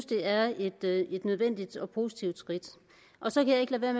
det er et nødvendigt og positivt skridt så kan jeg